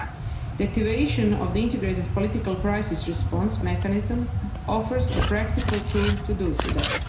The activation of the Integrated Political Crisis Response mechanism offers a practical tool to do that.